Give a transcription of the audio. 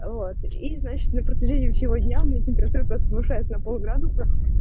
вот и значит на протяжении сего дня у меня температура повышается на пол градуса